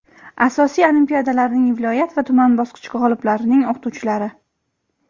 asosiy olimpiadalarning viloyat va tuman bosqichi g‘oliblarining o‘qituvchilari;.